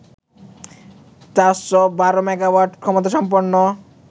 ৪১২ megawatt ক্ষমতাসম্পন্ন